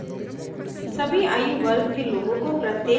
* अपने दांतों को ठीक से ब्रश करें